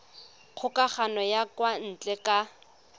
kgokagano ya kwa ntle ka